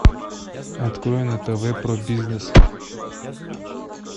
открой на тв про бизнес